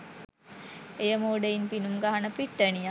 එය මෝඩයින් පිනුම් ගහන පිට්ටනියක්